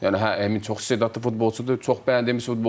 Yəni hə Emin çox istedadlı futbolçudur, çox bəyənilmiş futbolçudur.